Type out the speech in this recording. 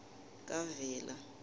kavela